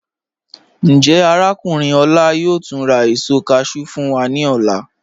Njẹ́ Arákùnrin Ola yóò túń rà èṣọ cashew fún wa ni ọlá?